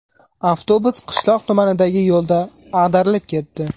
Avtobus qishloq tumanidagi yo‘lda ag‘darilib ketdi.